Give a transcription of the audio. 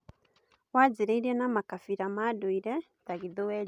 Wanjirie na makabira ma ndũire ta Gĩthweri.